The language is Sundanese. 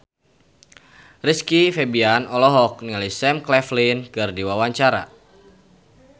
Rizky Febian olohok ningali Sam Claflin keur diwawancara